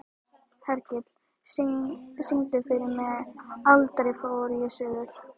Hergill, syngdu fyrir mig „Aldrei fór ég suður“.